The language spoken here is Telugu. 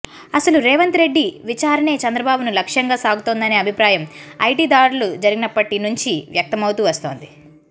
అసలు రేవంత్ రెడ్డి విచారణే చంద్రబాబును లక్ష్యంగా సాగుతోందనే అభిప్రాయం ఐటి దాడులు జరిగినప్పుటి నుంచి వ్యక్తమవుతూ వస్తోంది